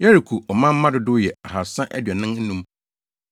Yeriko ɔmanmma dodow yɛ 2 345 1